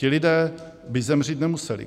Ti lidé by zemřít nemuseli.